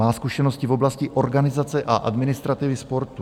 Má zkušenosti v oblasti organizace a administrativy sportu.